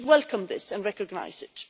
We should welcome this and recognise it.